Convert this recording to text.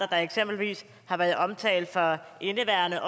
der eksempelvis har været omtalt for indeværende